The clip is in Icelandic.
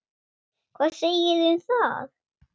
Hvað segiði um það?